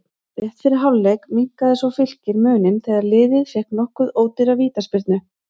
Rétt fyrir hálfleik minnkaði svo Fylkir muninn þegar liðið fékk nokkuð ódýra vítaspyrnu.